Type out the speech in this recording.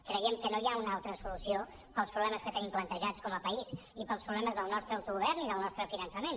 creiem que no hi ha una altra solució per als problemes que tenim plantejats com a país i per als problemes del nostre autogovern i del nostre finançament